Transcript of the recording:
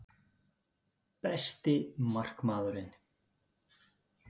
Besti markmaðurinn?